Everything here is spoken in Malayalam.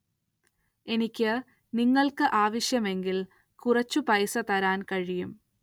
എനിക്ക് നിങ്ങള്ക്ക് ആവശ്യമെങ്കില്‍ കുറച്ചു പൈസ തരാന്‍ കഴിയും